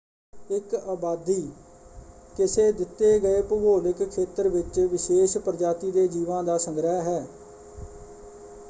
ਇਕ ਆਬਾਦੀ ਕਿਸੇ ਦਿੱਤੇ ਗਏ ਭੂਗੋਲਿਕ ਖੇਤਰ ਵਿੱਚ ਵਿਸ਼ੇਸ਼ ਪ੍ਰਜਾਤੀ ਦੇ ਜੀਵਾਂ ਦਾ ਸੰਗ੍ਰਹਿ ਹੈ।